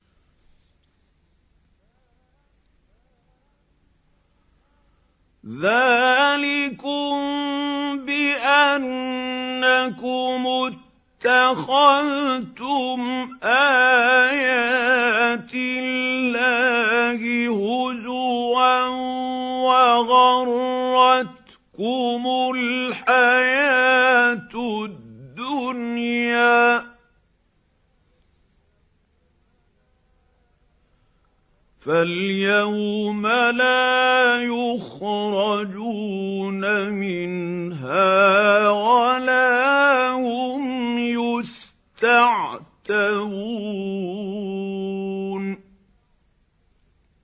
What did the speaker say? ذَٰلِكُم بِأَنَّكُمُ اتَّخَذْتُمْ آيَاتِ اللَّهِ هُزُوًا وَغَرَّتْكُمُ الْحَيَاةُ الدُّنْيَا ۚ فَالْيَوْمَ لَا يُخْرَجُونَ مِنْهَا وَلَا هُمْ يُسْتَعْتَبُونَ